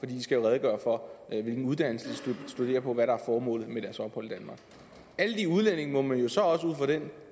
de skal redegøre for hvilken uddannelse de studerer på og hvad der er formålet med deres ophold i danmark alle de udlændinge må man jo så også ud fra den